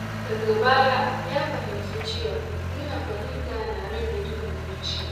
Daga baya ya fahimci cewa nuna fahimta yana rage duhun zuciya.